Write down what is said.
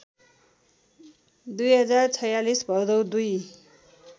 २०४६ भदौ २